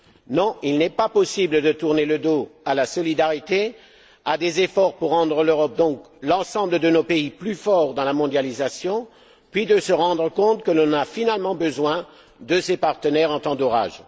Non, il n'est pas possible de tourner le dos à la solidarité, à des efforts pour rendre l'ensemble de nos pays plus forts dans la mondialisation, puis de se rendre compte que l'on a finalement besoin de ses partenaires en temps d'orage.